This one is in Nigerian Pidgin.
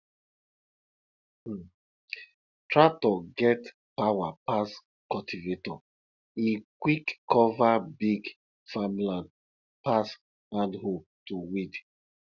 um tractor get power pass cultivator e quick cover big farmland pass hand hoe to weed